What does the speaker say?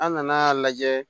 An nana lajɛ